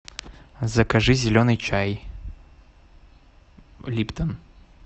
закажи зеленый чай липтон